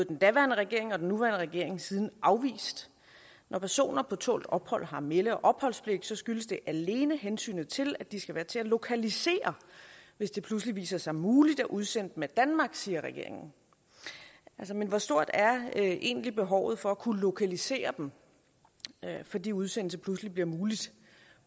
den daværende regering og den nuværende regering siden afvist når personer på tålt ophold har melde og opholdspligt skyldes det alene hensynet til at de skal være til at lokalisere hvis det pludselig viser sig muligt at udsende dem af danmark siger regeringen men hvor stort er egentlig behovet for at kunne lokalisere dem fordi udsendelse pludselig bliver mulig